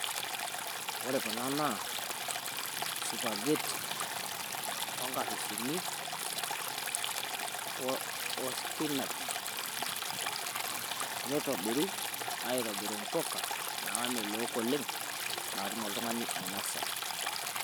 Ore kuna naa spagheti oonkapishini oo spinash, nitobiri aitobiru impuka naamelook oleng' naatumm oltung'ani ainosa.